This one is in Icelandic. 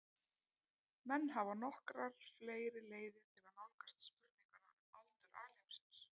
Menn hafa nokkrar fleiri leiðir til að nálgast spurninguna um aldur alheimsins.